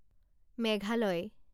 Meghalaya